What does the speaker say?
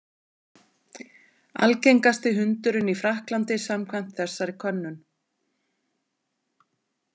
Algengasti hundurinn í Frakklandi samkvæmt þessari könnun.